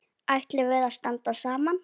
Ætlum við að standa saman?